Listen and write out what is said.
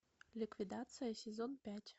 ликвидация сезон пять